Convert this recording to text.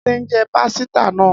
Ade njẹ pasita naa